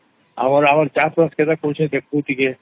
ଆମର ଚାଷ ବାସ କରିବୁ କେମିଇଁ ଦେଖିବୁ ଟିକେ